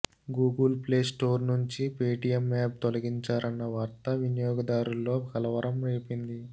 Google play store నుంచి Paytm app తొలగించారన్న వార్త వినియోగదారుల్లో కలవరం రేపింది